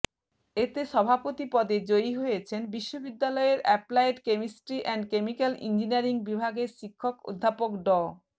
এতে সভাপতি পদে জয়ী হয়েছেন বিশ্ববিদ্যালয়ের applied chemistry and chemical engineering বিভাগের শিক্ষক অধ্যাপক ড